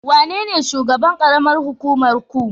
Wanene shugaban karamar hukumar ku?